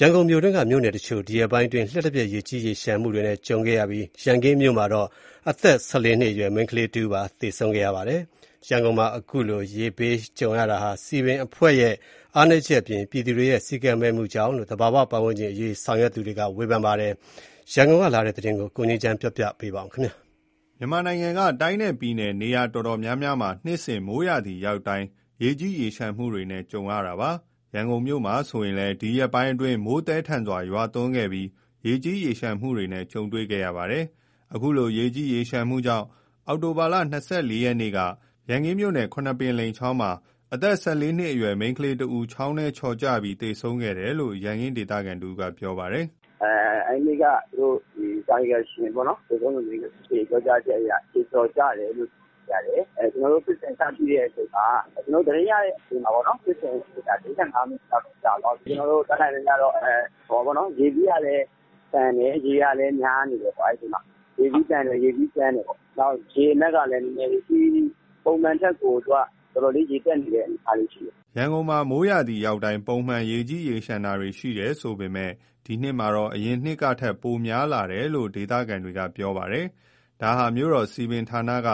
ရန်ကုန်မြို့တွင်းက မြို့နယ်တချို့မှာ ဒီရက်ပိုင်းအတွင်း လျှပ်တစ်ပြက် ရေကြီးရေလျှံမှုနဲ့ ကြုံခဲ့ရပြီး ရန်ကင်းမြို့နယ်မှာတော့ အသက် ၁၄နှစ်အရွယ် မိန်းကလေးတဦး သေဆုံးခဲ့ရပါတယ်။ ရန်ကုန်မှာ အခုလိုရေဘေး ကြုံရတာဟာ စည်ပင်အဖွဲ့ရဲ့ အားနည်းချက်အပြင် ပြည်သူတွေရဲ့ စည်းကမ်းမဲ့မှုတွေကြောင့် ဖြစ်တယ်လို့ သာဘာဝပတ်ဝန်းကျင်အရေး ဆောင်ရွက်သူတွေက ဝေဖန်ကြပါတယ်။ ရန်ကုန်ကလာတဲ့ သတင်းကို ကိုငြိမ်းချမ်းကတင်ပြပေးပါမယ်။ မြန်မာနိုင်ငံက တိုင်းနဲ့ပြည်နယ် တော်တော်များများမှာ နှစ်စဉ် မိုးရာသီရောက်တိုင်း ရေကြီးရေလျှံမှုတွေနဲ့ ရင်ဆိုင်ကြရတာပါ။ ရန်ကုန်မှာမြို့မှာ ဆိုရင်လည်း ဒီရက်ပိုင်းအတွင်း မိုးသည်း ထန်စွာ ရွာသွန်းခဲ့ပြီး ရေကြီးရေလျှံမှုတွေနဲ့ကြုံတွေ့ခဲ့ရတာပါ။ အခုလို ရေကြီးရေလျှံမှုကြောင့် အောက်တိုဘာလ ၂၄ရက်နေ့က ရန်ကင်းမြို့နယ် ခုနှစ်ပင်လိမ်ချောင်းမှာ အသက် ၁၄နှစ် အရွယ် မိန်းကလေးတဦး ချောင်းထဲချော်ကျပြီး သေဆုံးခဲ့တယ်လို့ ရန်ကင်းဒေသခံ တဦးကပြောပါတယ်။ “အဲဒီနေ့က သေဆုံးသူရဲ့ အဖေပြောတာကတော့ ခြေချော်ကျတယ်လို့သိရတယ်၊ကျနော်တို့ သတင်းရတဲ့ အချိန်မှာ ဖြစ်စဉ်သိရတဲ့ အချိန်မှာ ၄၅မိနစ်လောက်တော့ရှိပြီ၊ ကျနော်တို့ တတ်နိုင်သမျှတော့ အဲနေ့က ရေစီးကလည်း သန်တယ်၊ ရေကလည်း များနေတယ်၊ ရေစီးကြမ်းတယ်၊ ရေအနက်ကလည်း ပုံမှန်ထက် ရေတက်နေတဲ့ အနေအထားရှိတယ်။” ရန်ကုန်မှာ မိုးရာသီ ရောက်တိုင်း ပုံမှန် ရေကြီးရေလျှံတာတွေ ရှိတယ်ဆိုပေမယ့်လည်း ဒီနှစ်မှာတော့ အရင်နှစ်တွေ ကထက် များလာတယ်လို့ ရန်ကုန် ဒေသခံတွေက ပြောဆိုကြပါတယ်။ ဒါဟာ မြို့တော်စည်ပင်ဌာနက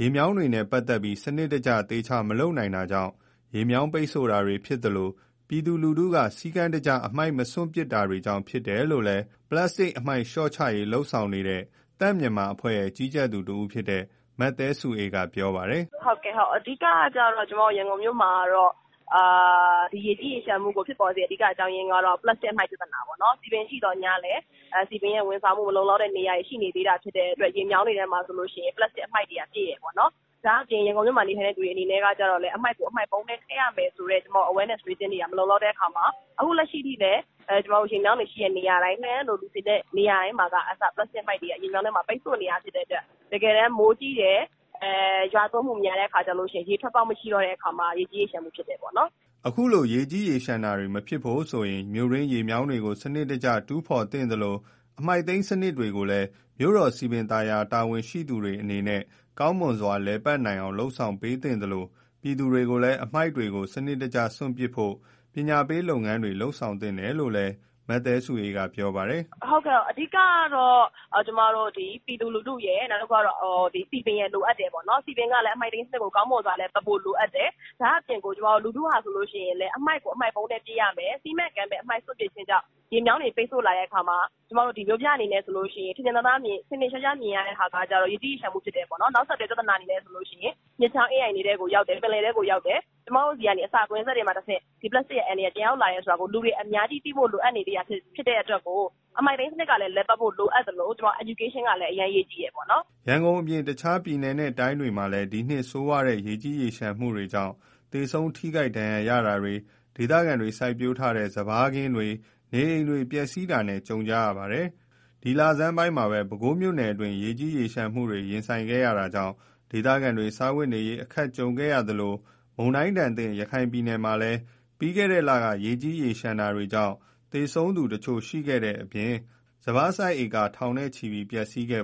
ရေမြောင်းတွေနဲ့ ပတ်သက်ပြီး စံနစ်တကျ သေသေချာချာ မလုပ်နိုင်တာကြောင့် ရေမြောင်းပိတ်ဆို့ တာဖြစ်သလို ပြည်သူလူထု တွေ စည်းကမ်းတကျ အမှိုက် မစွန့်ပစ်တာတွေကြောင့် ဖြစ်တယ်လို့ ပလပ်စတစ်အမှိုက် လျှော့ချရေး လုပ်ဆောင်နေတဲ့ သန့်မြန်မာအဖွဲ့ရဲ့ ကြီးကြပ်သူတဦးဖြစ်တဲ့ မသဲစုအေးကပြောပါတယ်။ “ရန်ကုန်မှာ ရေကြီးရေလျှံမှုကို အဓိကဖြစ်ပေါ်စေရတဲ့ အကြောင်းကျတော့ ပလပ်စတိတ် အမှိုက်ပြဿနာပေါ့နော်၊ စည်ပင်ရှိသော်ငြားလည်း စည်ပင်ရဲ့ ဝန်ဆောင်မှုမလုံ လောက်တဲ့ နေရာတွေ ရှိနေသေးတဲ့ အတွက် ရေမြောင်းတွေထဲမှာ ဆိုလို့ရှိရင် ပလပ်စတတ် အမှိုက်တွေကပြည့်တယ်။ ဒါ့အပြင် ရန်ကုန်မြို့မှာ နေထိုင်တဲ့ သူတွေကလည်း အမှိုက်ကို အမှိုက်ပုံးထဲ ထည့်ရမယ်ဆိုတဲ့ awareness တွေ မလုံလောက်တဲ့ အခါမှာ အခုအချိန်ထိလည်း ရေမြောင်း တွေ ရှိတဲ့ နေရာတိုင်း လှည်းတန်းလို လူစည်ကားတဲ့ နေရာတွေမှာက အစ ပလပ်စတတ် အမှိုက်တွေက ရေမြောင်းထဲမှာ ပိတ်ဆို့နေတာရှိတယ် တကယ်တမ်း မိုးကြီး တယ်၊ မိုရွာသွန်းမှုများတဲ့အခါ ရေထွက်ပေါက်မရှိ တော့တဲ့အခါ ရေကြီးရေလျှံမှု ဖြစ်တယ်ပေါ့နော်။” အခုလို ရေကြီးရေလျှံတာတွေ မဖြစ်ဖို့အတွက်ဆိုရင် မြို့တွင်းရေမြောင်းတွေကို စနစ်တကျ တူးဖော်သင့်သလို အမှိုက်သိမ်းစနစ်တွေကိုလည်း မြို့တော်စည်ပင် သာယာရေး တာဝန်ရှိသူတွေအနေနဲ့ ကောင်းမွန်စွာ လည်ပတ်နိုင်အောင်လုပ် ဆောင်ပေးသင့်သလို ပြည်သူတွေကိုလည်း အမှိုက်တွေကို စနစ်တကျစွန့်ပစ်ဖို့ ပညာရေးလုပ်ငန်းတွေ လုပ်ဆောင်သင့်တယ်လို့ လည်း မသဲစုအေးကဆက်ပြောပါတယ်။ “အဓိကတော့ ကျမတို့ ပြည်သူလူထုရယ် စည်ပင်ရယ် လိုအပ်တယ်ပေါ့နော်၊ စည်ပင်ကလည်း အမှိုက်သိမ်းစနစ်ကို ကောင်းမွန်စွာ လည်ပတ်ဖို့ လိုအပ်တယ်၊ ဒါ့အပြင် ကျမတို့ လူထုဟာဆိုလို့ရှိရင်လည်း အမှိုက်ကို အမှိုက်ပုံးထဲ ပစ်ရမယ်၊ စည်းမဲ့ ကမ်းမဲ့ အမှိုက်စွန့်ပစ်တာကြောင့် ရေမြောင်းတွေ ပိတ်ဆို့လာတဲ့ အခါမှာ မြို့ပြဆိုရင် ထင်ထင်ရှားရှားမြင်ရတာက ရေကြီးရေလျံ မှုဖြစ်တယ်။ နောက်ဆက်တွဲ ပြဿနာဆိုလို့ရှိရင် မြစ်ချောင်း အင်းအိုင်တွေထဲကို ရောက်တယ် ပင်လယ်ထဲကိုရောက်တယ်၊ အဲဒီကလည်း အစာကွင်းဆက်ကနေတဆင့် ဒီပလပ်စတတ်ရဲ့ အန္တရာယ်က ပြန်ရောက်လာတယ်ဆိုတာ လူတွေအများကြီးသဖို့လိုအပ်နေသေးသလို အမှိုက်သိမ်းစနစ်ကလည်း လည်ပတ်ဖို့ လိုအပ်သလို ပညာပေးတွေ လုပ်ဖို့လည်း အရမ်းအရေးကြီးပါတယ်။” ရန်ကုန်အပြင် တခြားတိုင်းနဲ့ပြည်နယ်တွေမှာလည်း ဒီနှစ်ဆိုးဝါးတဲ့ ရေကြီးရေလျှံမှုကြောင့် သေဆုံး ထိခိုက်ဒဏ်ရာရတာတွေ၊ ဒေသခံတွေ စိုက်ပျိုးထားတဲ့ စပါးစိုက်ခင်းတွေ၊ နေအိမ်တွေ ပျက်စီးတာနဲ့ ကြုံကြရတာပါ။ ဒီလဆန်းပိုင်းမှာပဲ ပဲခူးမြို့နယ်တွင်း ရေးကြီးရေလျံမှုတွေနဲ့ရင်ဆိုင်ခဲ့ရတာကြောင့် ဒေသခံတွေ စားဝတ်နေရေး အခက်ကြုံခဲ့ကြရသလို မုန်တိုင်းဒဏ်သင့် ရခိုင်ပြည်နယ်မှာလည်း ပြီးခဲ့တဲ့ လတွေက ရေကြီးရေလျှံတာတွေကြောင့် သေဆုံးသူတချို့ရှိခဲ့တဲ့အပြင် စပါးစိုက်လယ်ဧက ထောင်ချီပျက်စီးခဲ့